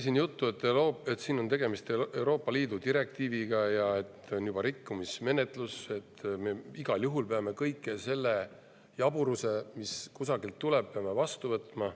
Siin oli juttu, et tegemist on Euroopa Liidu direktiiviga ja on juba rikkumismenetlus, nii et me igal juhul peame kogu selle jaburuse, mis kusagilt on tulnud, vastu võtma.